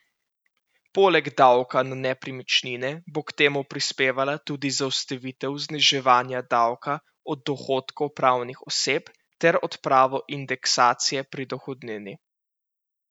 Poleg davka na nepremičnine bo k temu prispevala tudi zaustavitev zniževanja davka od dohodkov pravnih oseb ter odprava indeksacije pri dohodnini.